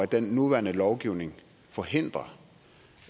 den nuværende lovgivning forhindrer